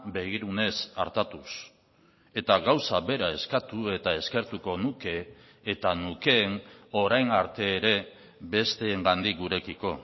begirunez artatuz eta gauza bera eskatu eta eskertuko nuke eta nukeen orain arte ere besteengandik gurekiko